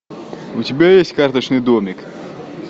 у тебя есть карточный домик